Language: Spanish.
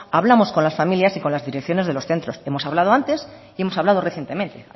hablamos con las familias y con las direcciones de los centros que hemos hablado antes y hemos hablado recientemente